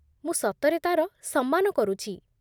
ମୁଁ ସତରେ ତା'ର ସମ୍ମାନ କରୁଚି ।